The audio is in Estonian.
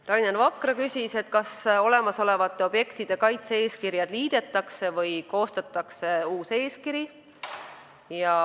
Rainer Vakra küsis, kas olemasolevate objektide kaitse-eeskirjad liidetakse või koostatakse uus eeskiri.